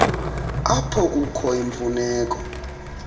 apho kukho imfuneko